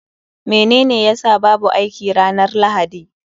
Menene ya sa babu aiki ranar Lahadi?